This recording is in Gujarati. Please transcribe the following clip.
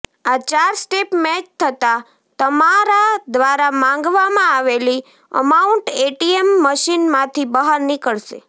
આ ચાર સ્ટેપ મેચ થતા તમારા દ્વારા માંગવામાં આવેલી અમાઉન્ટ એટીએમ મશીનમાંથી બહાર નીકળશે